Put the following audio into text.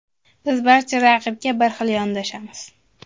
Biz barcha raqibga bir xil yondoshamiz.